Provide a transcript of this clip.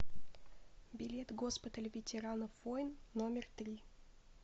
билет госпиталь ветеранов войн номер три